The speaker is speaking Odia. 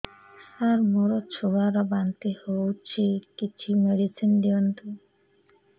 ସାର ମୋର ଛୁଆ ର ବାନ୍ତି ହଉଚି କିଛି ମେଡିସିନ ଦିଅନ୍ତୁ